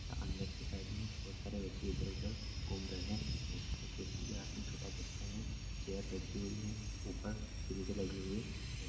अंदर की साइड में बहुत सारे व्यक्ति इधर-उधर घूम रहे है एक व्यक्ति के हाथ में छोटा बच्चा है चेयर रखी हुई है ऊपर सिरिंज लगी हुई है।